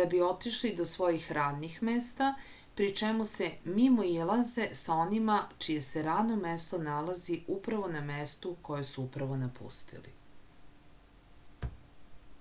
da bi otišli do svojih radnih mesta pri čemu se mimoilaze sa onima čije se radno mesto nalazi upravo na mestu koje su upravo napustili